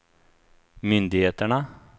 myndigheterna